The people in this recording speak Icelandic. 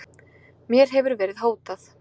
Mér hefur verið hótað